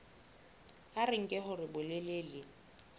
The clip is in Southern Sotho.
a re nke hore bolelele